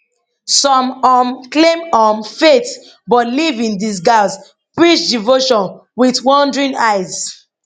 some um claim um faith but live in disguise preach devotion wit wandering eyes